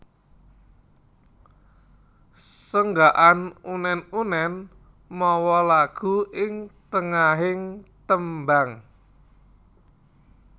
Senggakan unèn unèn mawa lagu ing tengahing tembang